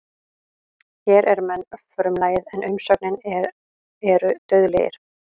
Hér er menn frumlagið en umsögnin er eru dauðlegir.